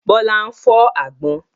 Bọlá ń fọ àgbọ̀n.